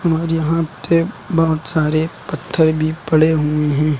और यहां पे बहुत सारे पत्थर भी पड़े हुए हैं।